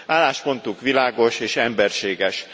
Álláspontunk világos és emberséges.